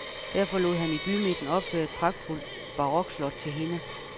Derfor lod han i bymidten opføre et pragtfuldt barokslot til hende.